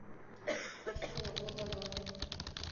афина вот она